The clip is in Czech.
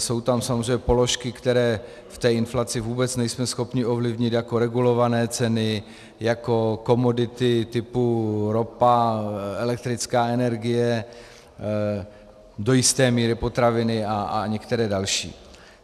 Jsou tam samozřejmě položky, které v té inflaci vůbec nejsme schopni ovlivnit, jako regulované ceny, jako komodity typu ropa, elektrická energie, do jisté míry potraviny a některé další.